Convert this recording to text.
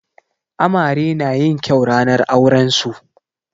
Amare na yin kyau ranar auren su.